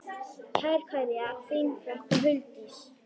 Kær kveðja, þín frænka Huldís.